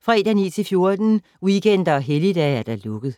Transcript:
fredag 9.00-14.00, weekender og helligdage: lukket.